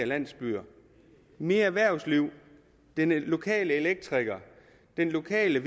landsbyer mere erhvervsliv den lokale elektriker den lokale